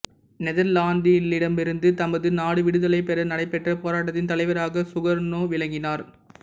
நெதர்லாந்திடமிருந்து தமது நாடு விடுதலை பெற நடைபெற்ற போராட்டத்தின் தலைவராக சுகர்ணோ விளங்கினார்